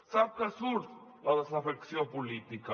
sap què surt la desafecció política